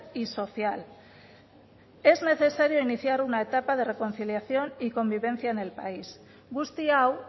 y social es necesario iniciar una etapa de reconciliación y convivencia en el país guzti hau